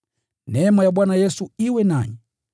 Neema ya Bwana Yesu iwe nanyi.